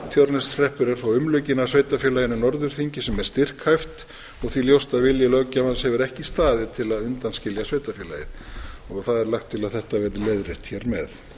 tjörneshreppur er þó umlukinn af sveitarfélaginu norðurþingi sem er styrkhæft og því ljóst að vilji löggjafans hefur ekki staðið til að undanskilja sveitarfélagið það er lagt til að þetta verði leiðrétt hér með